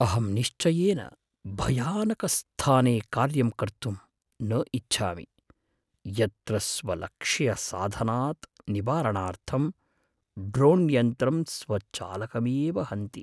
अहं निश्चयेन भयानकस्थाने कार्यं कर्तुं न इच्छामि, यत्र स्वलक्ष्यसाधनात् निवारणार्थं ड्रोण्यन्त्रं स्वचालकमेव हन्ति।